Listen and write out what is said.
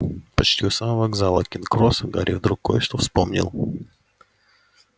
почти у самого вокзала кингс-кросс гарри вдруг кое-что вспомнил